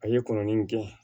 A ye kɔnɔnin gɛn